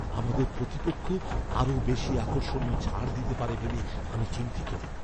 আমাদের প্রতিপক্ষ আরও বেশি আকর্ষণীয় ছাড় দিতে পারে ভেবে আমি চিন্তিত।